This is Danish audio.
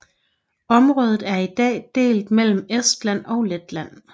Området er i dag delt mellem Estland og Letland